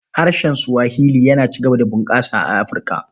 Harshen Swahili yana ci gaba da bunƙasa a Afirka.